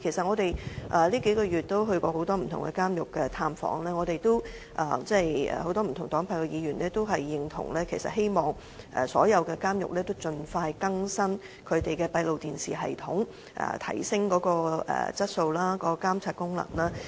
這數個月我們到訪過很多不同監獄，很多不同黨派的議員都同意，希望所有監獄盡快更新閉路電視系統，提升其質素及監察功能。